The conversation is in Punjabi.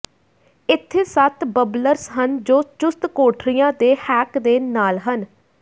ਇੱਥੇ ਸੱਤ ਬੱਬਲਰਸ ਹਨ ਜੋ ਚੁਸਤ ਕੋਠੜੀਆਂ ਦੇ ਹੈਕ ਦੇ ਨਾਲ ਹਨ